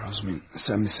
Rozumin, sən misən?